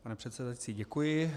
Pane předsedající, děkuji.